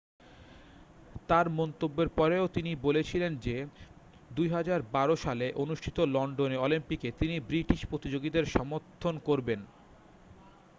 তার মন্তব্যের পরেও তিনি বলেছিলেন যে 2012 সালে অনুষ্ঠিত লন্ডনে অলিম্পিকে তিনি ব্রিটিশ প্রতিযোগীদের সমর্থন করবেন